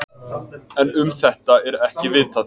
En um þetta er ekki vitað.